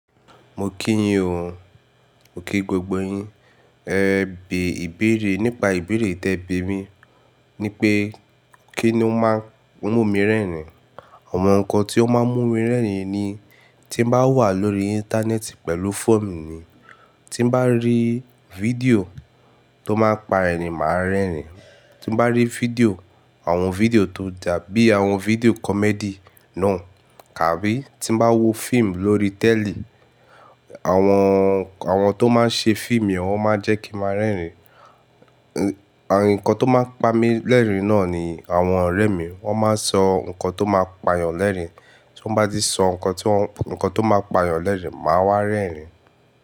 Mo kí yín o, mo kí gbogbo yín. E bè ìbéèrè nípa ìbéèrè tí ẹ bi mi ni pé kí ni ó máa ń mú mi rẹ́rìn? Ohun kan tí ó máa ń mú mi rẹ́rìn ni tí n bá wà lórí Íńtánẹ́ẹ̀tì pẹ̀lú fóònù mi ni. Tí n bá rí fídíò tó máa ń pa ẹ̀rìń máa rẹ́rìn. Tí n bá rí fídíò, àwọn fídíò tó dà bí àwọn fídíò comedy náà. Kàbí tí n bá wo fíìmù lórí tẹ̀lì, àwọn, àwọn tó máa ń ṣe fíìmù wọn máa jẹ́ kí n máa rẹ́rìn. Ẹ̀, ohun kan tó máa ń pa mi lẹ́rìn náà ni àwọn ọ̀rẹ́ mi. Wọ́n máa ń sọ nǹkan tó máa ń pàyàn lẹ́rìn. Tí wọ́n bá ti sọ nǹkan tí, nǹkan tó máa ń pàyàn lẹ́rìn, màá wá rẹ́rìn.